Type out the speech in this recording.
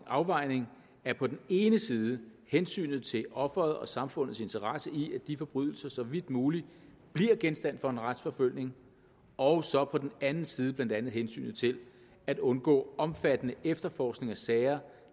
afvejning af på den ene side hensynet til offeret og samfundets interesse i at de forbrydelser så vidt muligt bliver genstand for en retsforfølgning og så på den anden side blandt andet hensynet til at undgå omfattende efterforskning af sager